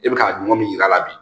E bɛ ka ɲuman min yir'a la bi